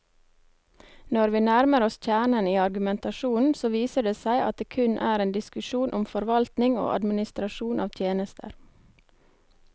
Når vi nærmer oss kjernen i argumentasjonen, så viser det seg at det kun er en diskusjon om forvaltning og administrasjon av tjenester.